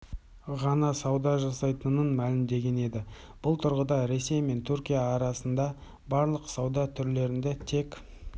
ғана сауда жасайтынын мәлімдеген еді бұл тұрғыда ресей мен түркия арасында барлық сауда түрлерінде тек